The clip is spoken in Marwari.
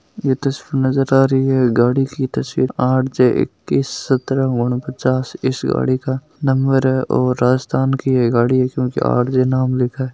तस्वीर नज़र आ रही है गाड़ी की तसवीर आर जे इक्कीस सत्र उनपचास इस गाड़ी का नंबर है और राजस्थान की गाड़ी है इसमें आर जे नाम लिखा है।